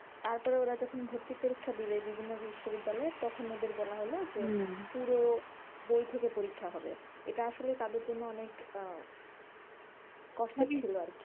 তারপর ওরা যখন ভর্তির পরীক্ষা দিলো বিভিন্ন বিশ্ববিদ্যালয়ে, তখন ওদের বলা হলো পুরো বই থেকে পরীক্ষা হবে এটা আসলে তাদের জন্য অনেক আহ কষ্টের ছিল আরকি,